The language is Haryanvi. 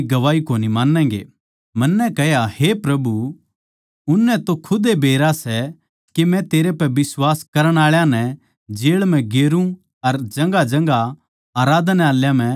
मन्नै कह्या हे प्रभु उननै तो खुदे बेरा सै के मै तेरै पै बिश्वास करण आळा नै जेळ म्ह गेरू अर जगहांजगहां आराधनालय म्ह छित्वाऊँ था